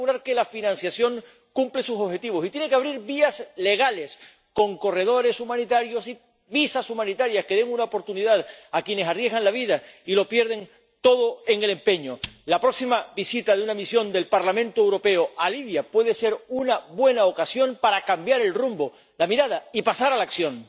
Tiene que asegurar que la financiación cumple sus objetivos y tiene que abrir vías legales con corredores humanitarios y visados humanitarios que den una oportunidad a quienes arriesgan la vida y lo pierden todo en el empeño. La próxima visita de una delegación del Parlamento Europeo a Libia puede ser una buena ocasión para cambiar el rumbo, la mirada y pasar a la acción.